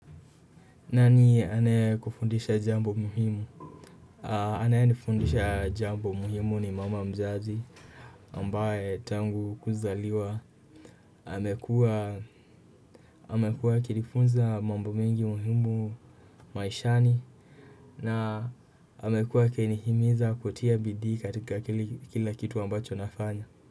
Nani anayekufundisha jambo muhimu? Anayenifundisha jambo muhimu ni mama mzazi ambaye tangu kuzaliwa amekuwa amekuwa anikinifunza mambo mingi muhimu maishani na amekuwa akinihimiza kutia bidii katika kila kitu ambacho nafanya.